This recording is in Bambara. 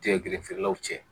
Jɛgɛ gele feerelaw cɛ